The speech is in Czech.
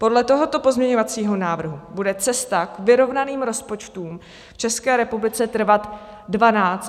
Podle tohoto pozměňovacího návrhu bude cesta k vyrovnaným rozpočtům v České republice trvat 12 až 14 let.